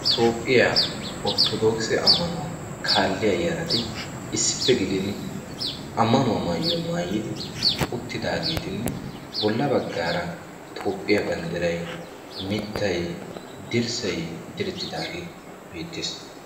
Toophphiyaa orttodokisee ammanuwaa kaalliyaa yarati issippe gididi ammanuwaa maayuwaa maayidi uttidagetinne bolla baggaara toophphiyaa banddiray mittay dirssay direttidaagee beettees.